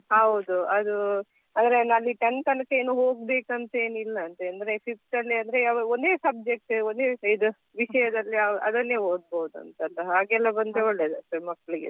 ಹೌದು ಅದು ಆ Tenth ತನಕ ಹೋಗ್ಬೇಕಂತ ಏನಿಲ್ಲ ಅಂತೇ ಅಂದ್ರೆ Fifth ಅಲ್ಲಿ ಆದ್ರೆ ಒಂದೇ subject ಒಂದೇ ಇದು ವಿಷಯದಲ್ಲಿ ಅದನ್ನೇ ಓದ್ಬೋದಂತಲ್ಲ ಹಾಗೆ ಎಲ್ಲ ಬಂದ್ರೆ ಒಳ್ಳೇದಲ್ಲ ಮಕ್ಕಳಿಗೆಸ ಎಲ್ಲ.